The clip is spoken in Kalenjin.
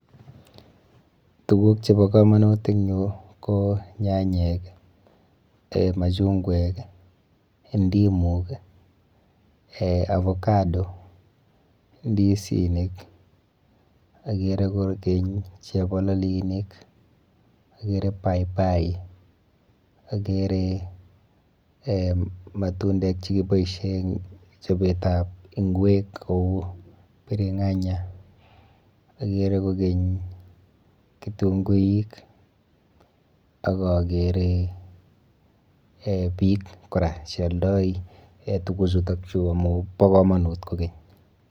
Tukuk chebo kamanut eng yu ko nyanyek, machungwek, ndimuk, avocado, ndisinik, akere kokeny chebololinik, akere paipai, akere um matundek che kiboisie chobetab ngwek kou biringanya, akere kokeny kitunguik, ak akere um piik kora che aldoi tukuchutokchu amu bo kamanut konkeny.